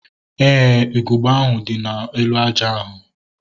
Éè, ugegbe ahu dị n'elu aja ahu